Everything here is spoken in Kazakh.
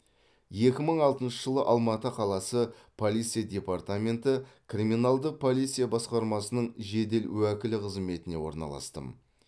екі мың алтыншы жылы алматы қаласы полиция департаменті криминалдық полиция басқармасының жедел уәкілі қызметіне орналастым